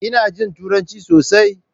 Ina jin Turanci sosai.